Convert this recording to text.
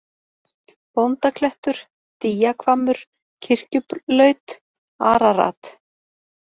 Bóndaklettur, Dýjahvammur, Kirkjulaut, Ararat